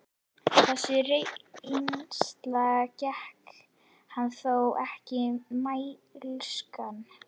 Þessi reynsla gerir hann þó ekki mælskan.